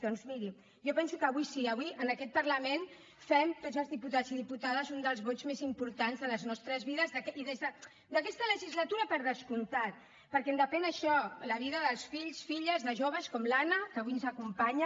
doncs mirin jo penso que avui sí avui en aquest parlament fem tots els diputats i diputades un dels vots més importants de les nostres vides i d’aquesta legislatura per descomptat perquè en depèn això la vida dels fills filles de joves com l’anna que avui ens acompanya